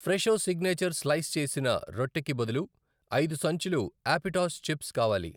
Fresho signature slice చేసిన రొట్టె కి బదులు ఐదు సంచులు యాపిటాస్ చిప్స్ కావాలి.